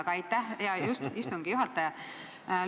Aga aitäh, hea istungi juhataja!